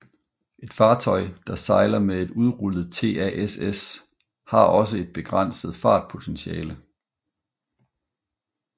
Et fartøj der sejler med et udrullet TASS har også et begrænset fartpotentiale